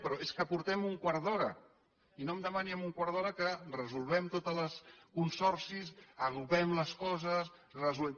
però és que portem un quart d’hora i no em demani amb un quart d’hora que resolguem tots els consorcis agrupem les coses resolguem